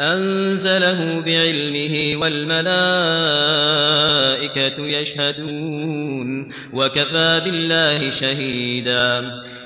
أَنزَلَهُ بِعِلْمِهِ ۖ وَالْمَلَائِكَةُ يَشْهَدُونَ ۚ وَكَفَىٰ بِاللَّهِ شَهِيدًا